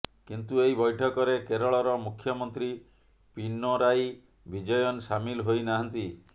କିନ୍ତୁ ଏହି ବୈଠକରେ କେରଳର ମୁଖ୍ୟମନ୍ତ୍ରୀ ପିନରାଈ ବିଜୟନ୍ ସାମିଲ ହୋଇ ନାହାଁନ୍ତି